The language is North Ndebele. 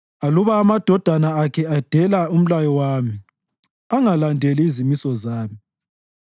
Aluba amadodana akhe edela umlayo wami angalandeli izimiso zami,